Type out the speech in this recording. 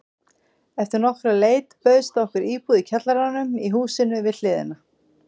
Eftir nokkra leit bauðst okkur íbúð í kjallaranum í húsinu við hliðina.